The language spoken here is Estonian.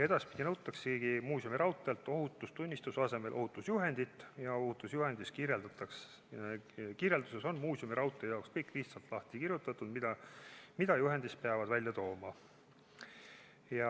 Edaspidi nõutaksegi muuseumiraudteelt ohutustunnistuse asemel ohutusjuhendit ja ohutusjuhendi kirjelduses on muuseumiraudtee jaoks kõik lihtsalt lahti kirjutatud, mida juhendis peab välja tooma.